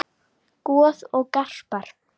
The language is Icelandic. Goð og garpar